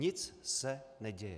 Nic se neděje.